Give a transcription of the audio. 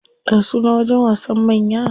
Ya sunan wajen wasan manya?